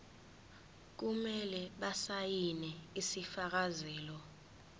kumele basayine isifakazelo